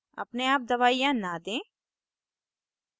अपने आप दवाइयाँ न do